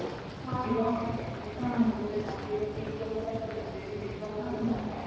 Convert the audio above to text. ଯିବା ପାଇଁକି ଗୋଟେ ମନ୍ଦିର ଠିକ୍ କରିସାରିଥିଲା ସେଇଠି ନିର୍ବନ୍ଧ ହେଇଥାନ୍ତା।